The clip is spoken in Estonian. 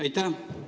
Aitäh!